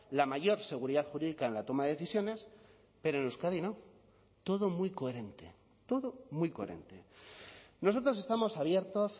la mayor seguridad jurídica en la toma de decisiones pero en euskadi no todo muy coherente todo muy coherente nosotros estamos abiertos